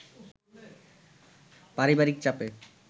পারিবারিক চাপে